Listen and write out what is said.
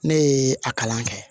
Ne ye a kalan kɛ